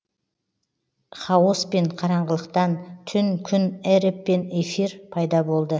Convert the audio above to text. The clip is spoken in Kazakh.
хаоспен қараңғылықтан түн күн эреб пен эфир пайда болды